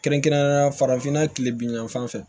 Kɛrɛnkɛrɛnnenya la farafinna kile bingan fɛ